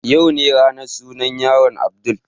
Yau ne ranar sunan yaron Abdul